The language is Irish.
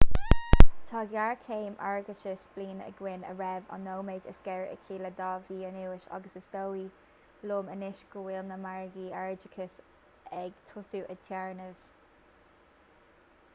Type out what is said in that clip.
tá géarchéim airgeadais bliana againn a raibh an nóiméad is géire aici le dhá mhí anuas agus is dóigh liom anois go bhfuil na margaí airgeadais ag tosú ag téarnamh